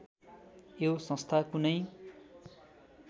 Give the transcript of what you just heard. यो संस्था कुनै